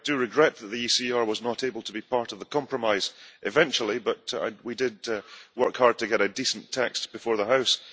I do regret that the ECR was not able to be part of the compromise, eventually, but we did work hard to get a decent text before the House.